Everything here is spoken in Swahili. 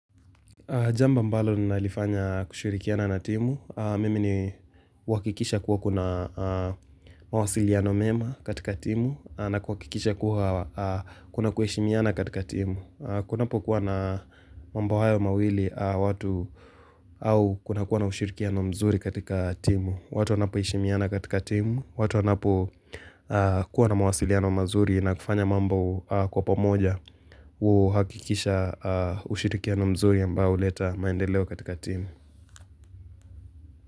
Jambo ambalo nina lifanya kushirikiana na timu, mimi ni kuhakikisha kuwa kuna mawasiliano mema katika timu na kuhakikisha kuwa kuna kuheshimiana katika timu. Kunapo kuwa na mambo hayo mawili watu au kuna kuwa na ushirikiano mzuri katika timu. Watu wanapo heshimiana katika timu, watu wanapo kuwa na mawasiliano mazuri na kufanya mambo kwa pomoja huhakikisha ushirikiano mzuri ambao huleta maendeleo katika timu.